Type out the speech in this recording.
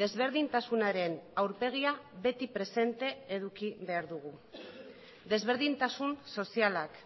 desberdintasunaren aurpegia beti presente eduki behar dugu desberdintasun sozialak